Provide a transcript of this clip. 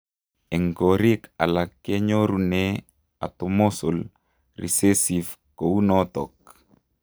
Eng koriik alaak, kenyorunee atomosal risesive kounotok.